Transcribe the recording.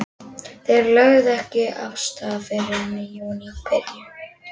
Þeir lögðu ekki af stað fyrr en í júníbyrjun.